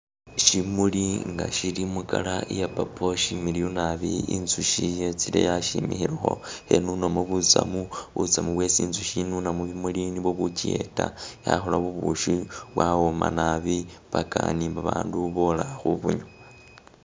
Shimuli nga shili mu'colour iya purple shimiliyu naabi inzushi yetsile yasimilekho khenunamo butsamu, butsamu bwesi inzukhi inuna musimuli nibobbuchiyeta yakhola bubushi bwawoma naabi paka ni'babandu bola khubunywa